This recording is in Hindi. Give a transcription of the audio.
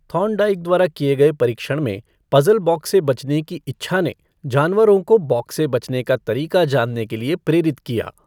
थार्नडाइक द्वारा किए गए परीक्षण में पज़ल बॉक्स से बचने की इच्छा ने जानवरों को बॉक्स से बचने का तरीका जानने के लिए प्रेरित किया।